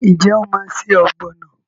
Ṣé o máa se ọ̀gbọ̀nà?